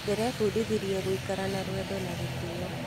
Ndĩrebundithirie gũikara na rwendo na gĩtĩo.